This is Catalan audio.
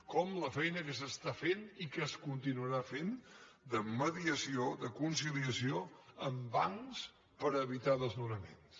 com la feina que s’està fent i que es continuarà fent de mediació de conciliació amb bancs per evitar desnonaments